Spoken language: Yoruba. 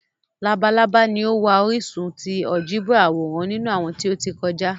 Labalaba ni o wa orisun ti áljẹbrà aworan ninu awọn ti o ti kọja.